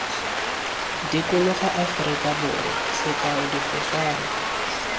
dikologa aforika borwa sekao difofane